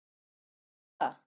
Hvernig gerir maður það?